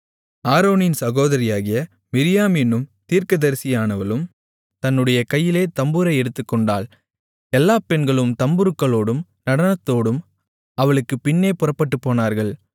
ஆரோனின் சகோதரியாகிய மிரியாம் என்னும் தீர்க்கதரிசியானவளும் தன்னுடைய கையிலே தம்புரை எடுத்துக்கொண்டாள் எல்லாப் பெண்களும் தம்புருக்களோடும் நடனத்தோடும் அவளுக்குப் பின்னே புறப்பட்டுப்போனார்கள்